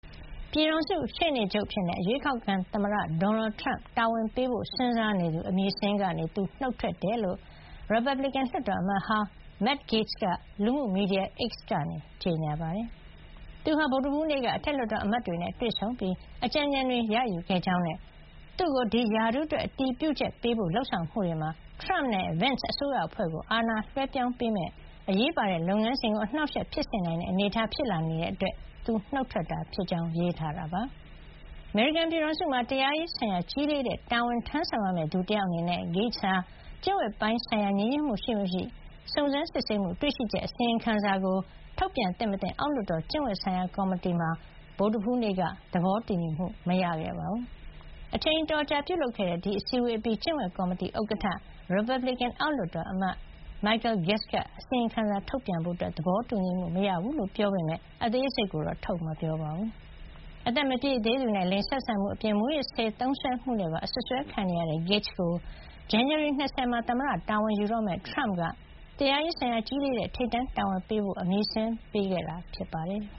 ပြည်ထောင်စုရှေ့နေချုပ်အဖြစ် အရွေးကောက်ခံသမ္မတ ဒေါ်နယ်ထရမ့် တာဝန်ပေးဖို့ စဉ်းစားနေသူ- အမည်စာရင်းကနေ သူနှုတ်ထွက်ကြောင်း ရီပတ်ဘလစ်ကန် လွှတ်တော်အမတ်ဟောင်း Matt Gaetz က လူမှုမီဒီယာ X ကနေ ကြေညာပါတယ်။ သူဟာ ဗုဒ္ဓဟူးနေ့က အထက်လွှတ်တော်အမတ်တွေနဲ့ တွေ့ဆုံပြီး အကြံဉာဏ်တွေ ရယူခဲ့ကြောင်းနဲ့ သူ့ကို ဒီရာထူးအတွက် အတည်ပြုချက်ပေးဖို့ လုပ်ဆောင်မှုတွေမှာ ထရမ့်နဲ့ Vence အစိုးရအဖွဲ့ကို အာဏာလွှဲပြောင်းပေးမယ့် အရေးပါတဲ့ လုပ်ငန်းစဉ်ကို အနှောက်အယှက် ဖြစ်စေနိုင်တဲ့ အနေထား ဖြစ်လာနေတာကြောင့် သူနှုတ်ထွက်တာ ဖြစ်ကြောင်း ရေးထားတာပါ။ အမေရိကန် ပြည်ထောင်စုမှာ တရားရေး ဆိုင်ရာ ကြီးလေးတဲ့ တာဝန်ထမ်းဆောင်ရမယ့် သူတယောက်အနေနဲ့ Gaetz ဟာ ကျင့်ဝတ်ပိုင်း ဆိုင်ရာ ညီညွတ်မှု ရှိမရှိ စုံစမ်းစစ်ဆေးမှု- တွေ့ရှိချက် အစီရင်ခံစာကို ထုတ်ပြန်သင့်မသင့် အောက်လွှတ်တော် ကျင့်ဝတ်ဆိုင်ရာ ကော်မတီမှာ ဗုဒ္ဓဟူးနေ့က သဘောတူညီမှု မရခဲ့ပါဘူး။ အချိန်အတော်ကြာ ပြုလုပ်ခဲ့တဲ့ အစည်းဝေးအပြီး ကျင့်ဝတ်ကော်မတီ ဥက္ကဋ္ဌ ရီပတ်ဘလစ်ကန် အောက်လွှတ်တော် အမတ် Michael Guest က အစီရင်ခံစာထုတ်ပြန်ဖို့ သဘောတူညီမှု မရခဲ့ဘူးလို့ ပြောပေမယ့် အသေးစိတ်ကိုတော့ ထုတ်မပြောပါဘူး။ အသက်မပြည့်သေးသူနဲ့ လိင်ဆက်ဆံမှု အပြင် မူးယစ်ဆေး သုံးစွဲမှုနဲ့ပါ အစွပ်စွဲ ခံနေရတဲ့ Gaetz ကို ဇန်နဝါရီ ၂၀ မှာ သမ္မတ တာဝန်ယူတော့မယ့် ထရမ့်က တရားရေးဆိုင်ရာ ကြီးလေးတဲ့ ထိပ်တန်းတာဝန်ပေးအပ်ဖို့ အမည်စာရင်းပေးခဲ့တာ ဖြစ်ပါတယ်။